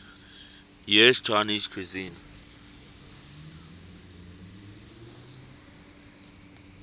us chinese cuisine